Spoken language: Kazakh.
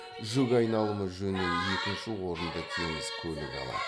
жүк айналымы жөнінен екінші орынды теңіз көлігі алады